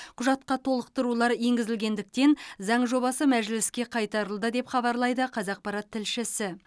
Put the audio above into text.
құжатқа толықтырулар енгізілгендіктен заң жобасы мәжіліске қайтарылды деп хабарлайды қазақпарат тілшісі